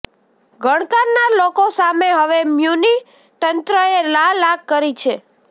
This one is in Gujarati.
ગણકારનાર લોકો સામે હવે મ્યુનિ તંત્રએ લાલ આંખ કરી છે